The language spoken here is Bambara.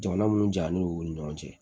Jamana minnu jalen don u ni ɲɔgɔn cɛ